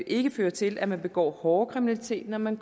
ikke fører til at man begår hårdere kriminalitet når man